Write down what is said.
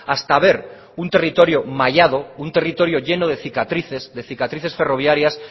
hasta ver un territorio mallado un territorio lleno de cicatrices de cicatrices ferroviarias